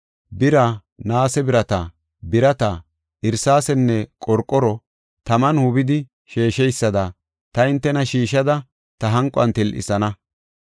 Bira, naase birata, birata, irsaasenne qorqoro taman hubidi sheesheysada ta hintena shiishada ta hanquwana til7isana.